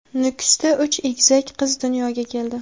Nukusda uch egizak qiz dunyoga keldi.